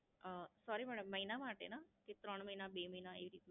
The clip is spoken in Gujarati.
અમ સોરી મેડમ મહિના માટે ના? કે ત્રણ મહિના, બે મહિના એવી રીતે?